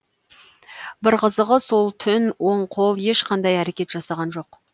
бір қызығы сол түн оң қол ешқандай әрекет жасаған жоқ